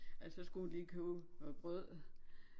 At så skulle hun lige købe noget brød